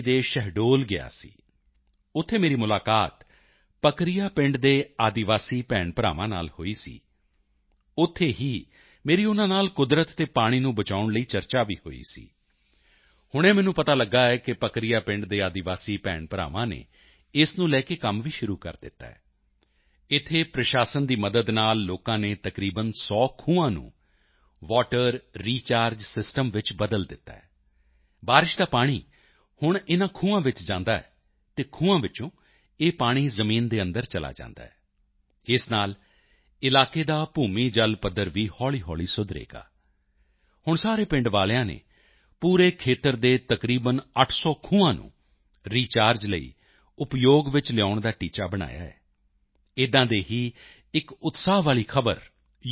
ਦੇ ਸ਼ਹਡੋਲ ਗਿਆ ਸੀ ਉੱਥੇ ਮੇਰੀ ਮੁਲਾਕਾਤ ਪਕਰਿਆ ਪਿੰਡ ਦੇ ਆਦਿਵਾਸੀ ਭੈਣਾਂਭਰਾਵਾਂ ਨਾਲ ਹੋਈ ਸੀ ਉੱਥੇ ਹੀ ਮੇਰੀ ਉਨ੍ਹਾਂ ਨਾਲ ਕੁਦਰਤ ਅਤੇ ਪਾਣੀ ਨੂੰ ਬਚਾਉਣ ਲਈ ਵੀ ਚਰਚਾ ਹੋਈ ਸੀ ਹੁਣੇ ਮੈਨੂੰ ਪਤਾ ਲਗਿਆ ਹੈ ਕਿ ਪਕਰਿਆ ਪਿੰਡ ਦੇ ਆਦਿਵਾਸੀ ਭੈਣਾਂਭਰਾਵਾਂ ਨੇ ਇਸ ਨੂੰ ਲੈ ਕੇ ਕੰਮ ਵੀ ਸ਼ੁਰੂ ਕਰ ਦਿੱਤਾ ਹੈ ਇੱਥੇ ਪ੍ਰਸ਼ਾਸਨ ਦੀ ਮਦਦ ਨਾਲ ਲੋਕਾਂ ਨੇ ਤਕਰੀਬਨ 100 ਖੂਹਾਂ ਨੂੰ ਵਾਟਰ ਰੀਚਾਰਜ ਸਿਸਟਮ ਚ ਬਦਲ ਦਿੱਤਾ ਹੈ ਬਾਰਿਸ਼ ਦਾ ਪਾਣੀ ਹੁਣ ਇਨ੍ਹਾਂ ਖੂਹਾਂ ਵਿੱਚ ਜਾਂਦਾ ਹੈ ਅਤੇ ਖੂਹਾਂ ਵਿੱਚੋਂ ਇਹ ਪਾਣੀ ਜ਼ਮੀਨ ਦੇ ਅੰਦਰ ਚਲਾ ਜਾਂਦਾ ਹੈ ਇਸ ਨਾਲ ਇਲਾਕੇ ਦਾ ਭੂਮੀ ਜਲ ਪੱਧਰ ਵੀ ਹੌਲ਼ੀਹੌਲ਼ੀ ਸੁਧਰੇਗਾ ਹੁਣ ਸਾਰੇ ਪਿੰਡ ਵਾਲਿਆਂ ਨੇ ਪੂਰੇ ਖੇਤਰ ਦੇ ਤਕਰੀਬਨ 800 ਖੂਹਾਂ ਨੂੰ ਰੀਚਾਰਜ ਲਈ ਉਪਯੋਗ ਵਿੱਚ ਲਿਆਉਣ ਦਾ ਟੀਚਾ ਬਣਾਇਆ ਹੈ ਇਸੇ ਤਰ੍ਹਾਂ ਦੀ ਹੀ ਇੱਕ ਉਤਸ਼ਾਹ ਵਾਲੀ ਖ਼ਬਰ ਯੂ